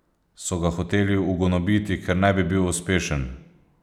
So ga hoteli ugonobiti, ker ne bi bil uspešen?